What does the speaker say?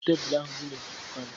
Bupu tebelu ahụ dị n'etiti palọ